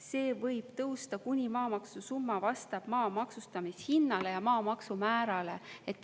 See võib tõusta, kuni maamaksu summa vastab maa maksustamishinnale ja maamaksumäärale.